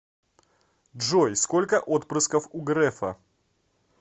джой сколько отпрысков у грефа